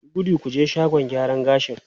Yi gudu ku je shagon gyaran gashi!